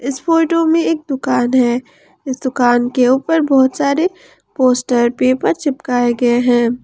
इस फोटो में एक दुकान है इस दुकान के ऊपर बहोत सारे पोस्टर पेपर चिपकाए गए हैं।